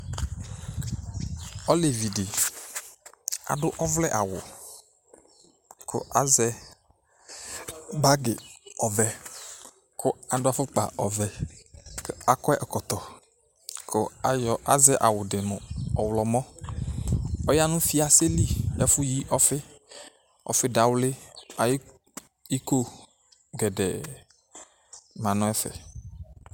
Olevidi , adu ɔvlɛ'awuku azɛ bagi ɔvɛkʋ adʋ afukpa ɔvɛ kʋ akɔ ɛkɔtɔ, kʋ azɛ awudi mu ɔɣlɔmɔɔya nu fiaseli nu ɛfʋyi ɔfiɔfi dawli ayiʋ iko gɛɖɛɛ manʋ ɛfɛ